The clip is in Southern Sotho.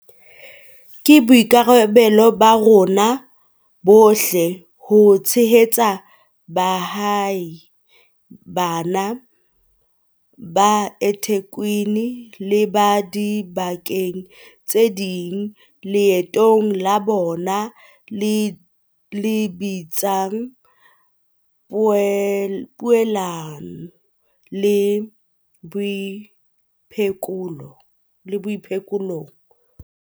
Ke boikarabelo ba rona bohle ho tshehetsa baahi bana ba eThekwini le ba diba keng tse ding leetong la bona le lebisang poelanong le boiphekolong.